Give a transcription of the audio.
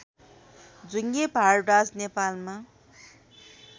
जुंगे भारद्वाज नेपालमा